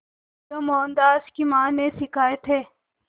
जो मोहनदास की मां ने सिखाए थे